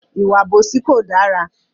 Ìwà àbòsí kò dára.